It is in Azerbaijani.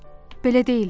Belə deyildi.